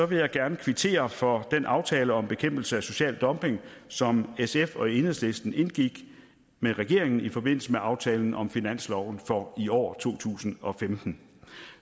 vil jeg gerne kvittere for den aftale om bekæmpelse af social dumping som sf og enhedslisten indgik med regeringen i forbindelse med aftalen om finansloven for i år to tusind og femten